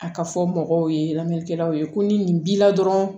A ka fɔ mɔgɔw ye lamɛnnikɛlaw ye ko ni nin b'i la dɔrɔn